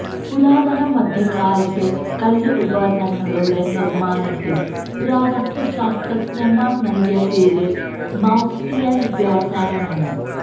പുരാതന മധ്യകാലത്തെ കല്ല് ഉപകരണങ്ങളുടെ നിർമ്മാണത്തിന് പുരാവസ്തുശാസ്ത്രജ്ഞന്മാർ നൽകിയ പേര് മൌസ്റ്റിയൻ വ്യവസായമാണ്